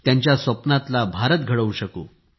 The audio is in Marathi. त्यांच्या स्वप्नातला भारत घडवू शकू